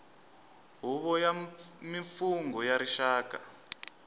huvo ya mimfungho ya rixaka